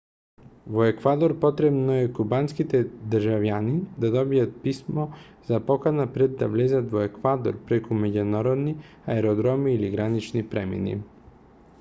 во еквадор потребно е кубанските државјани да добијат писмо за покана пред да влезат во еквадор преку меѓународни аеродроми или гранични премини